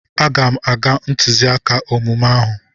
Aga m aga ntụziaka omume ahụ.